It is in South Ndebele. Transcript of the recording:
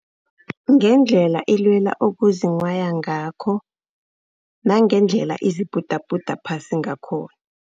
Ngendlela elwela ukuzinghwaya ngakho, nangendlela ezibhudabhuda phasi ngakhona.